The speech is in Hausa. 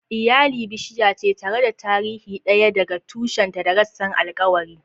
Iyali bishiya ce, tare da tarihi ɗaya daga tushenta da rassan alkawari.